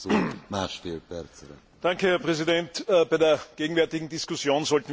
Herr Präsident! Bei der gegenwärtigen Diskussion sollten wir uns keine Illusionen machen.